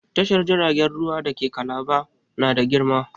Tashar jiragen ruwa da ke Kalaba na da girma.